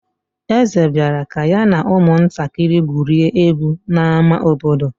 Eze bịara ka ya na ụmụntakịrị gwurie egwu n'ámá obodo.